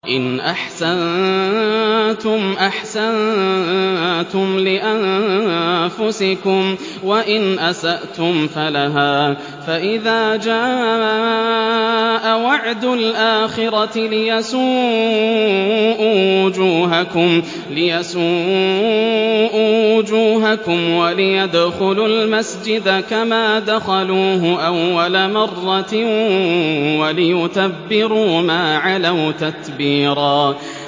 إِنْ أَحْسَنتُمْ أَحْسَنتُمْ لِأَنفُسِكُمْ ۖ وَإِنْ أَسَأْتُمْ فَلَهَا ۚ فَإِذَا جَاءَ وَعْدُ الْآخِرَةِ لِيَسُوءُوا وُجُوهَكُمْ وَلِيَدْخُلُوا الْمَسْجِدَ كَمَا دَخَلُوهُ أَوَّلَ مَرَّةٍ وَلِيُتَبِّرُوا مَا عَلَوْا تَتْبِيرًا